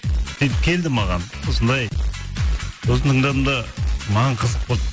сөйтіп келді маған осындай сосын тыңдадым да маған қызық болды